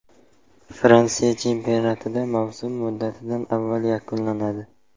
Fransiya chempionatida mavsum muddatidan avval yakunlanadi.